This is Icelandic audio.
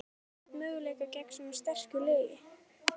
En á Valur einhvern möguleika gegn svona sterku liði?